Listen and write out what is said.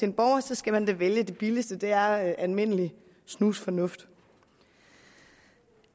en borger så skal man da vælge det billigste det er almindelig snusfornuft